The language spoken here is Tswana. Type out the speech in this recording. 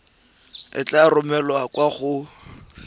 e tla romelwa kwa go